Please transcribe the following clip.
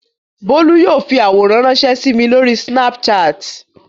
Bólú yóò fi àwòrán ránṣẹ́ sí mi lórí Snapchat.